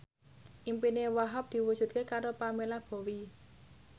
impine Wahhab diwujudke karo Pamela Bowie